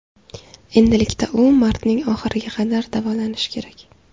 Endilikda u martning oxiriga qadar davolanishi kerak.